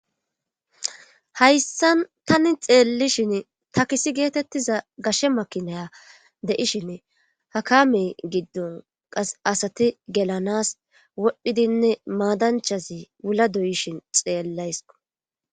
hayssan tani xeellishin takisi geetettiza gashe makinaya deishin hakame giddon qas asati gelanas wodhdhidinne maadanchazi wula doyishin xeellays